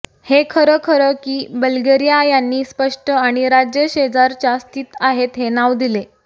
हे खरं खरं की बल्गेरिया यांनी स्पष्ट आणि राज्य शेजारच्या स्थित आहेत हे नाव दिले